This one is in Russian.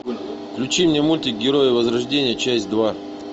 включи мне мультик герои возрождения часть два